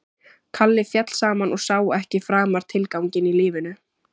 Kalli féll saman og sá ekki framar tilganginn í lífinu.